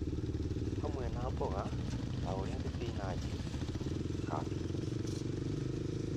hamwe na mboga ta ũrĩa thibinanji, kambĩnji